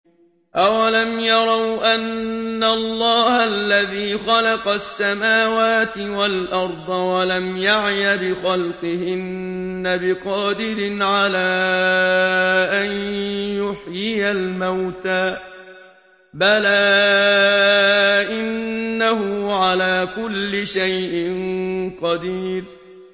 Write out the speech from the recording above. أَوَلَمْ يَرَوْا أَنَّ اللَّهَ الَّذِي خَلَقَ السَّمَاوَاتِ وَالْأَرْضَ وَلَمْ يَعْيَ بِخَلْقِهِنَّ بِقَادِرٍ عَلَىٰ أَن يُحْيِيَ الْمَوْتَىٰ ۚ بَلَىٰ إِنَّهُ عَلَىٰ كُلِّ شَيْءٍ قَدِيرٌ